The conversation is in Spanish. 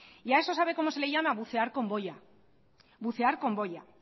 y a eso sabe cómo se le llama bucear con boya